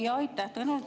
Jaa, aitäh!